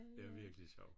Det er virkelig sjovt